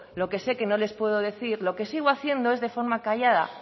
lo que sé que no les puede decir lo que sigo haciendo es de forma callada